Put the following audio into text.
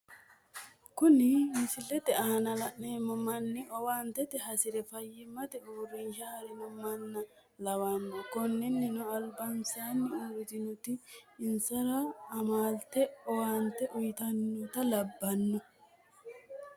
Kuni misilete aana la'neemo manni owaante hasire fayimate uurinsha harino mana lawanno, koninino alibansanni uuritinoti in'sara amalete owaante uyitanotta labanno